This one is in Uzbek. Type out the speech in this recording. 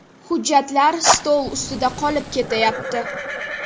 Hujjatlar stol ustida qolib ketayapti.